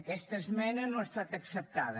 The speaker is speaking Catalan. aquesta esmena no ha estat acceptada